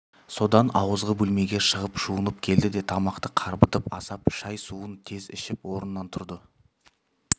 содан ауызғы бөлмеге шығып жуынып келді де тамақты қарбытып асап шай-суын тез ішіп орнынан тұрды